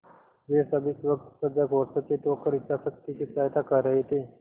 वे सब इस वक्त सजग और सचेत होकर इच्छाशक्ति की सहायता कर रहे थे